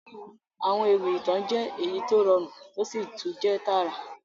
Àwọn ewì ìtàn jẹ èyí to rọrún to si tun jẹ taarà.